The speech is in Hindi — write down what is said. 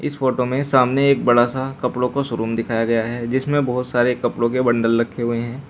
इस फोटो में सामने एक बड़ा सा कपड़ों का शोरूम दिखाया गया है जिसमें बहोत सारे कपड़ों के बंडल रखे हुए हैं।